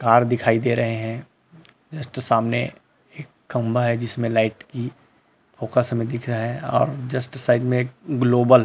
तार दिखाई दे रहे है जस्ट सामने एक खम्भा है जिसमे लाइट की फोकस हमें दिख रहा है और जस्ट साइड में एक ग्लोबल --